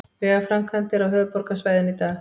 Vegaframkvæmdir á höfuðborgarsvæðinu í dag